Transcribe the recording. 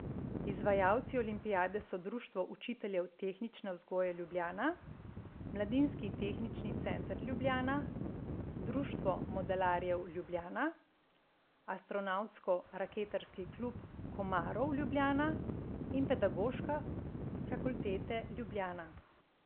Izvajalci olimpijade so Društvo učiteljev tehnične vzgoje Ljubljana, Mladinski tehnični center Ljubljana, Društvo modelarjev Ljubljana, Astronavtsko raketarski klub Komarov Ljubljana in Pedagoška fakultete Ljubljana.